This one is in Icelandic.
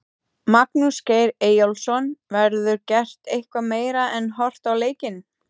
Magnús Geir Eyjólfsson: Verður gert eitthvað meira en horfa á leikinn?